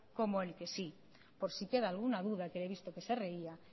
como el que sí por si queda alguna duda que le he visto que se reía